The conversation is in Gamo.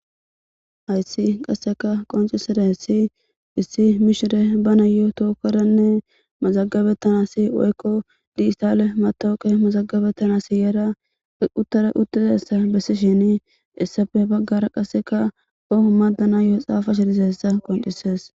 Ayssi qasseka qoncisera hessi issi mishire bana yo tookeranne mazagabettanasi woykko diistale matooke mazagabettana siyyara uttara uttizassa bessi shini issafe baggara qasseka oho maddana yoo xaafa shirizessa qondisees